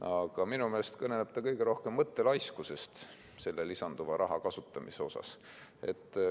Aga minu meelest kõneleb see kõige rohkem mõttelaiskusest selle lisanduva raha kasutamisel.